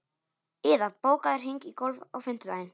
Iða, bókaðu hring í golf á fimmtudaginn.